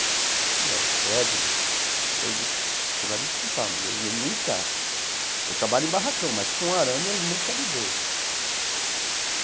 Eu falei, não, oh Edna, eu você vai me desculpar, mas eu nunca... Eu trabalho em barracão, mas com arame eu nunca lidei.